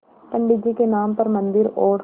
पंडित जी के नाम पर मन्दिर और